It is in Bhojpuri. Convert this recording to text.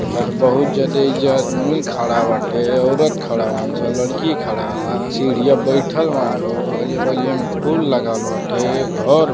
तके बहुत ज्यादे एईजा आदमियों खाड़ा बाटे। औरत खाड़ा बालिसन लड़की खाड़ा बा। सीढ़िया पर बाईथल बानलों। बगलिया बगलिया मे फूल लगवाल बाटे। घर --